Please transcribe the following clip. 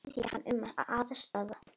Þeir biðja hann um aðstoð.